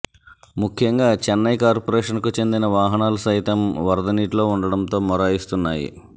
ముఖ్యంగా చెన్నై కార్పోరేషన్కు చెందిన వాహనాలు సైతం వరద నీటిలో ఉండటంతో మొరాయిస్తున్నాయి